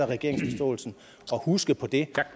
regeringen og huske på det